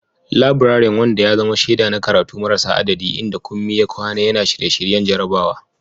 Laburaren, wanda ya zama shaida na karatu marasa adadi, inda Kunmi ya kwana yana shirye-shiryen jarabawa.